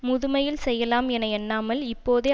முதுமையில் செய்யலாம் என எண்ணாமல் இப்போதே